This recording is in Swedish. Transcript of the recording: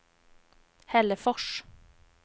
Hällefors